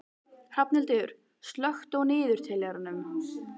Hrafnhildur, slökktu á niðurteljaranum.